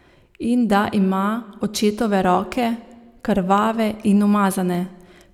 In da ima očetove roke, krvave in umazane.